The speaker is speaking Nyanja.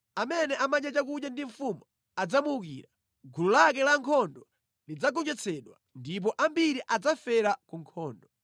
Amene amadya chakudya ndi mfumu adzamuukira; gulu lake lankhondo lidzagonjetsedwa, ndipo ambiri adzafera ku nkhondo.